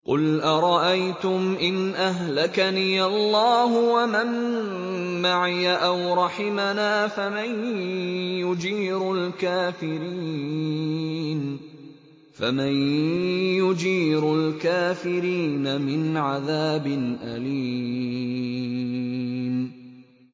قُلْ أَرَأَيْتُمْ إِنْ أَهْلَكَنِيَ اللَّهُ وَمَن مَّعِيَ أَوْ رَحِمَنَا فَمَن يُجِيرُ الْكَافِرِينَ مِنْ عَذَابٍ أَلِيمٍ